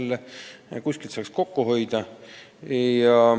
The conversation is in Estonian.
Nii saab kuskilt kokku hoida.